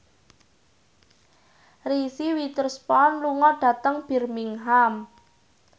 Reese Witherspoon lunga dhateng Birmingham